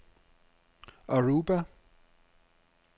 Aruba